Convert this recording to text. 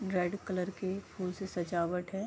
Red colour के फूल से सजावट है।